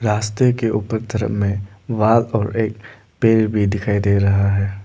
रास्ते के ऊपर तरफ में और एक पेड़ भी दिखाई दे रहा है।